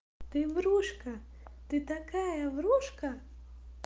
ты врушка ты такая врушка